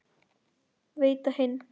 Veita hinn